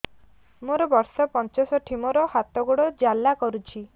ମୋର ବର୍ଷ ପଞ୍ଚଷଠି ମୋର ହାତ ଗୋଡ଼ ଜାଲା କରୁଛି